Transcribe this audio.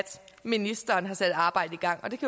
ministeren har sat et arbejde i gang det